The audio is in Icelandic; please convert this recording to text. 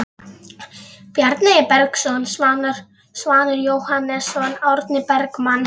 Bjarni Bergsson, Svanur Jóhannesson, Árni Bergmann